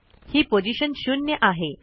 ही position 0 आहे